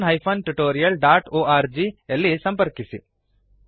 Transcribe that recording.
ಧನ್ಯವಾದಗಳು